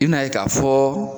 I n'a ye k'a fɔ